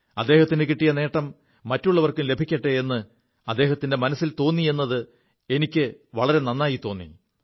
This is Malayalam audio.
അദ്ദഹത്തിനു കിിയ നേം മറ്റുള്ളവർക്കും ലഭിക്കെ എ് അദ്ദേഹത്തിന്റെ മനസ്സിൽ തോി എത് എനിക്ക് വളരെ നായി തോി